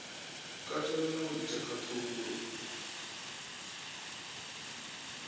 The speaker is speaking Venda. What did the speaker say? katela na u ita khaṱhululo